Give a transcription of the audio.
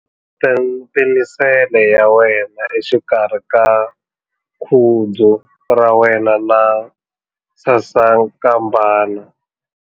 Penisele ya wena exikarhi ka khudzu ra wena na sasankambana.